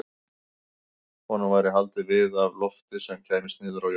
Honum væri haldið við af lofti sem kæmist niður í jörðina.